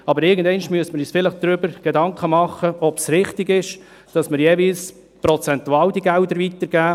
Doch irgendwann müssen wir uns Gedanken darüber machen, ob es richtig ist, dass wir die Gelder jeweils prozentual weitergeben.